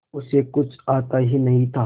उसे कुछ आता ही नहीं था